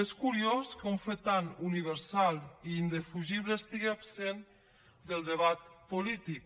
és curiós que un fet tan universal i indefugible estigui absent del debat polític